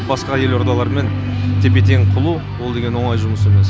басқа елордалармен тепе тең қылу ол деген оңай жұмыс емес